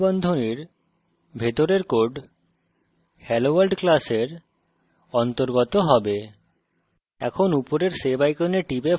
এই দুই curly বন্ধনীর ভিতরের code helloworld class অন্তর্গত হবে